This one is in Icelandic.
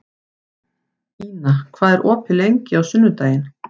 Ina, hvað er opið lengi á sunnudaginn?